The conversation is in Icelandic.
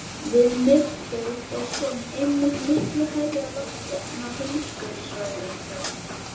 Við miðbaug er sólin einmitt miklu hærra á lofti en á heimskautasvæðunum.